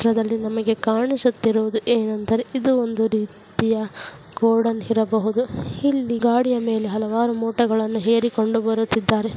ಈ ಚಿತ್ರ್ದಲ್ಲಿ ನಮಗೆ ಕಾಣಿಸುತ್ತಿರುವುದು ಏನೆಂದರೆ ಇದು ಒಂದು ರೀತಿಯ ಗೋಡೌನ್ ಇರ್ಬಹುದು ಇಲ್ಲಿ ಗಾಡಿಯ ಮೇಲೆ ಹಲವಾರು ಮೂಟೆಗಳನ್ನು ಹೇರಿಕೊಂಡು ಬರುತ್ತಿದ್ದಾರೆ.